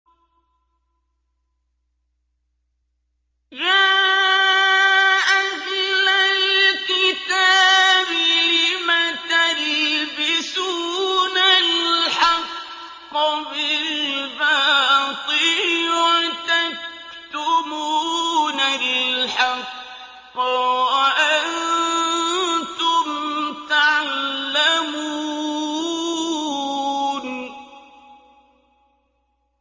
يَا أَهْلَ الْكِتَابِ لِمَ تَلْبِسُونَ الْحَقَّ بِالْبَاطِلِ وَتَكْتُمُونَ الْحَقَّ وَأَنتُمْ تَعْلَمُونَ